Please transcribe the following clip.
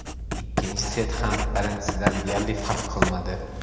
Ikkinchi set ham birinchisidan deyarli farq qilmadi.